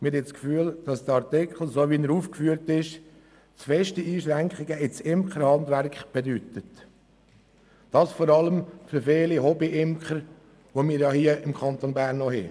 Wir haben das Gefühl, dass der Artikel, so wie er jetzt formuliert ist, zu starke Einschränkungen ins Imkerhandwerk mit sich bringt – vor allem für viele Hobbyimker, die wir im Kanton Bern noch haben.